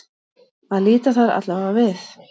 Að líta þar allavega við.